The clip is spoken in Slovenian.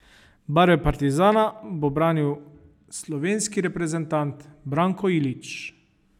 Barve Partizana bo branil slovenski reprezentant Branko Ilić.